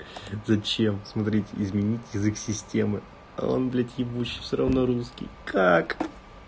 зачем смотрите изменить язык системы а он блять ебучий все равно русский как